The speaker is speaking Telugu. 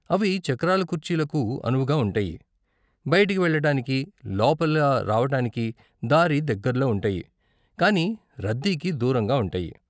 అవి చక్రాల కుర్చీలకు అనువుగా ఉంటాయి, బయటికి వెళ్ళటానికి, లోపల రావటానికి దారి దగ్గరలో ఉంటాయి, కానీ రద్దీకి దూరంగా ఉంటాయి.